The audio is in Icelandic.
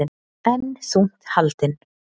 Enn þungt haldin